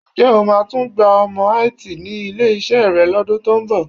Ǹjẹ́ o máa tún gba ọmọ IT ní ilé-iṣẹ́ rẹ lọ́dún tó ń bọ̀?